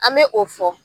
An bɛ o fɔ